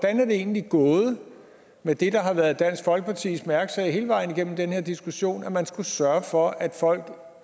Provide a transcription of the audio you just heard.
er det egentlig gået med det der har været dansk folkepartis mærkesag hele vejen igennem den her diskussion nemlig at man skulle sørge for at folk